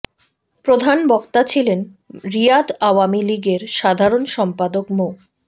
প্রধান বক্তা ছিলেন রিয়াদ আওয়ামী লীগের সাধারণ সম্পাদক মো